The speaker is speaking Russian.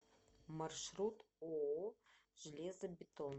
маршрут ооо железобетон